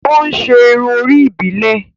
O n ṣe irun orí ibilẹ